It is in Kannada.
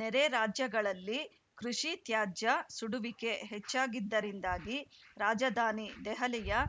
ನೆರೆರಾಜ್ಯಗಳಲ್ಲಿ ಕೃಷಿತ್ಯಾಜ್ಯ ಸುಡುವಿಕೆ ಹೆಚ್ಚಾಗಿದ್ದರಿಂದಾಗಿ ರಾಜಧಾನಿ ದೆಹಲಿಯ